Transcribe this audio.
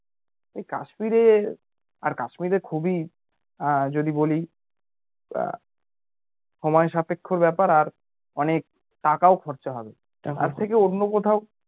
কাশ্মীরে আর কাশ্মীরে খুবই যদি বলি সময় সাপেক্ষর ব্যাপার আর অনেক টাকাও খরচা হবে তার থেকে অন্য কোথাও